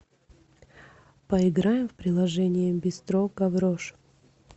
поиграем в приложение бистро гаврош